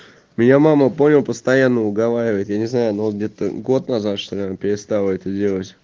меня мама понял постоянно уговаривает я не знаю но вот где-то год назад что она перестала это делать